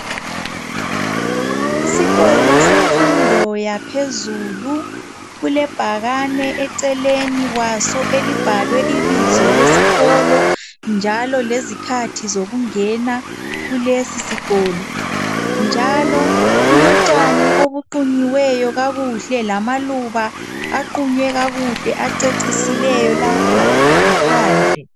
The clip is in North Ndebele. Isikolo semfundo yaphezulu. Kulebhakane eceleni kwaso. Elibhalwe ibizo lesikolo, njalo lezikhathi zokungena kulesisikolo, njalo kulotshani obuqunywe kakuhle, lamaluba, aqunywe kakuhle. Acecisileyo, lapha ngaphandle.